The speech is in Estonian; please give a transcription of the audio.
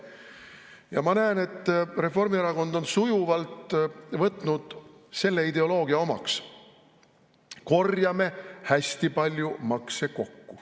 Ja ma näen, et Reformierakond on sujuvalt võtnud selle ideoloogia omaks: korjame hästi palju makse kokku.